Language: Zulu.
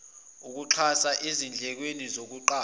ukuxhasa ezindlekweni zokuqasha